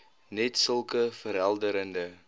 net sulke verhelderende